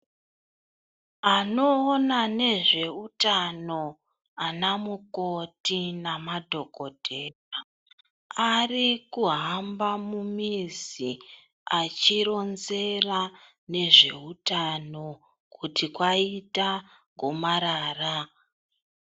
Anoona nezveutano ana mukoti namadhokotera ,ari kuhamba mumizi, achironzera ngezvehutano kuti kwaita gomarara.